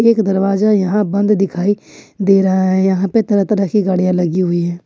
एक दरवाजा यहां बंद दिखाई दे रहा है यहां पर तरह तरह की गाड़ियां लगी हुई हैं।